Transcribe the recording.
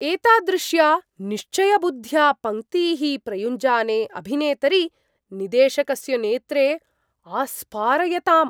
एतादृश्या निश्चयबुद्ध्या पङ्क्तीः प्रयुञ्जाने अभिनेतरि, निदेशकस्य नेत्रे आस्पारयताम्।